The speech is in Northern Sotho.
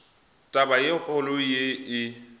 taba e kgolo ye e